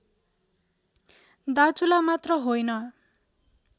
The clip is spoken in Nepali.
दार्चुला मात्र होइन